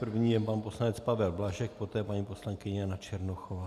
První je pan poslanec Pavel Blažek, poté paní poslankyně Jana Černochová.